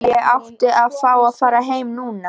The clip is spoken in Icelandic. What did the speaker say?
Ég átti að fá að fara heim núna.